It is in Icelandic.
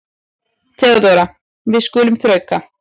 THEODÓRA: Við skulum þrauka.